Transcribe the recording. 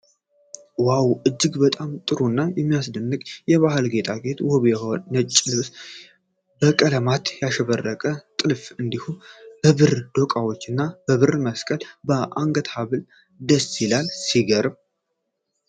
ዋው! እጅግ በጣም ጥሩ እና የሚያስደንቅ የባህል ጌጣጌጥ! ውብ ነጭ ልብስ በቀለማት ያሸበረቀ ጥልፍ እንዲሁም በብር ዶቃዎች እና በብር መስቀል የአንገት ሐብል ደስ ይላል። ሲገርም!